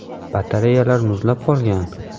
Batareyalar muzlab qolgan.